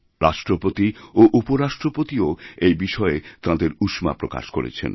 রাষ্ট্রপতি এবং উপরাষ্ট্রপতিও এই বিষয়ে তাঁদের উষ্মা প্রকাশকরেছেন